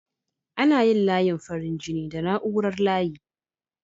Ana yin layin farin jini da na'urar layi.